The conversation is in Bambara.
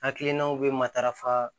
Hakilinaw bɛ matarafa